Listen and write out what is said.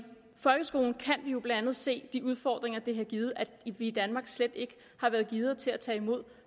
folkeskolen kan vi jo blandt andet se de udfordringer det har givet at vi i danmark slet ikke har været gearet til at tage imod